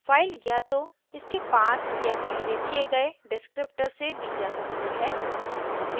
file या तो इसके पाथ या पहले दिए गए डिस्क्रिप्टर से दी जा सकती है